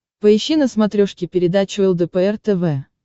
поищи на смотрешке передачу лдпр тв